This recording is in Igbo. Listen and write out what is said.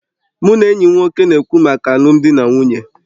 Mụ na enyi m nwoke na-ekwu maka alụmdi na nwunye